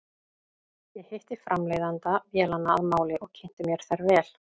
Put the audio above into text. Ég hitti framleiðanda vélanna að máli og kynnti mér þær vel.